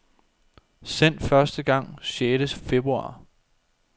Sendt første gang sjette februar.